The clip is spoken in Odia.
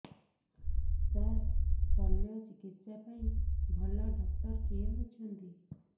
ସାର ଶଲ୍ୟଚିକିତ୍ସା ପାଇଁ ଭଲ ଡକ୍ଟର କିଏ ଅଛନ୍ତି